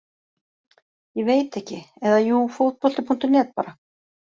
Ég veit ekki, eða jú fótbolti.net bara.